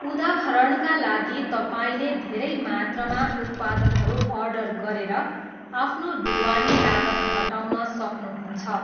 उदाहरणका लागि तपाईँले धेरै मात्रामा उत्पादनहरू अर्डर गरेर आफ्नो ढुवानी लागत घटाउन सक्नुहुन्छ।